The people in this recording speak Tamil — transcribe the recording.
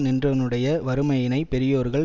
நின்றவனுடைய வறுமையினைப் பெரியோர்கள்